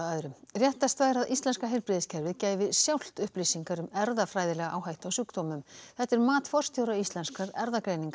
réttast væri að íslenska heilbrigðiskerfið gæfi sjálft upplýsingar um erfðafræðilega áhættu á sjúkdómum þetta er mat forstjóra Íslenskrar erfðagreiningar